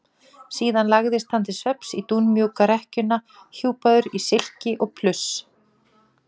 Síðan lagðist hann til svefns í dúnmjúka rekkjuna hjúpaður í silki og pluss.